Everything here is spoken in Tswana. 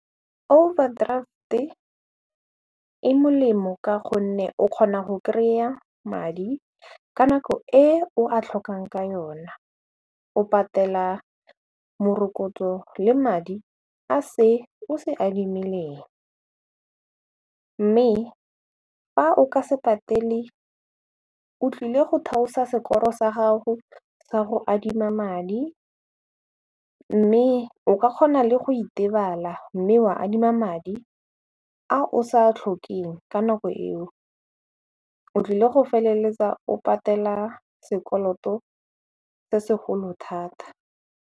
Overdraft-e e molemo ka gonne o kgona go kry-a madi ka nako e o a tlhokang ka yona o patela morokotso le madi a se o se adimileng mme fa o ka se patele o tlile go theosa score-ro sa gago sa go adima madi mme o ka kgona le go itebala mme wa adima madi a o sa tlhokeng ka nako eo o tlile go feleletsa o patela sekoloto se segolo thata.